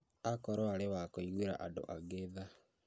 Akorwo arĩ wa kũiguĩra andũ angĩ tha